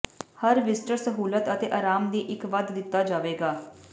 ਹਰ visitor ਸਹੂਲਤ ਅਤੇ ਆਰਾਮ ਦੀ ਇੱਕ ਵੱਧ ਦਿੱਤਾ ਜਾਵੇਗਾ